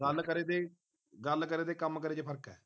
ਗੱਲ ਕਰੇ ਤੇ ਗੱਲ ਕਰੇ ਤੇ ਕੰਮ ਕਰੇ ਤੇ ਫਰਕ ਹੈ